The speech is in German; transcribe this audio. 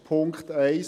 Punkt 1